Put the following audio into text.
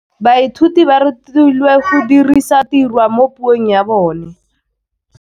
Baithuti ba rutilwe go dirisa tirwa mo puong ya bone.